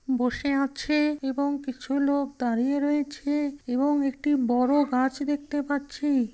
বসে আছে এবং কিছু লোক দাঁড়িয়ে রয়েছে এবং একটি বড় গাছ দেখতে পাচ্ছি।